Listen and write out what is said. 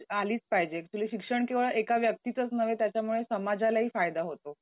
आलीच पाहिजे. ऍक्च्युली शिक्षण केवळ एका व्यक्तीचंच नव्हे त्याच्यामुळे समाजालाही फायदा होतो.